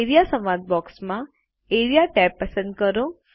A R E A સંવાદ બૉક્સમાં A R E A tab પસંદ કરો